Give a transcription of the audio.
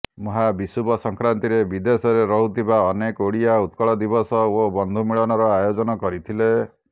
ମହା ବିଷୁବ ସଂକ୍ରାନ୍ତିରେ ବିଦେଶରେ ରହୁଥିବା ଅନେକ ଓଡ଼ିଆ ଉତ୍କଳ ଦିବସ ଓ ବନ୍ଧୁ ମିଳନର ଆୟୋଜନ କରିଥିଲେ